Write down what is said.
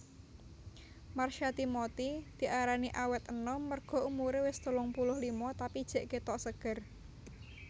Marsha Timothy diarani awet enom merga umure wes telung puluh lima tapi jek ketok seger